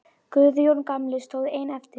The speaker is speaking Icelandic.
Guðjón gamli stóð einn eftir.